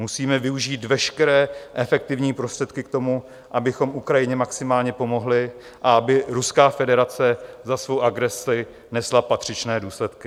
Musíme využít veškeré efektivní prostředky k tomu, abychom Ukrajině maximálně pomohli a aby Ruská federace za svou agresi nesla patřičné důsledky.